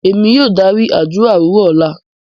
Emi yóò dari adura owurọ lọla.